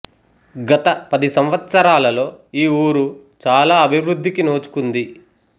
గత పది సంవత్సరాలలో ఈ ఊరు చాలా అభివృధ్ధికి నోచుకుంది